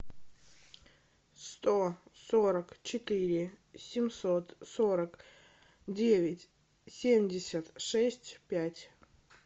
сто сорок четыре семьсот сорок девять семьдесят шесть пять